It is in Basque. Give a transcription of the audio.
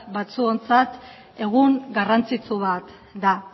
batzuontzat egun garrantzitsu bat da